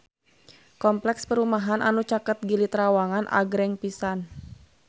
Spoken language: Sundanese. Kompleks perumahan anu caket Gili Trawangan agreng pisan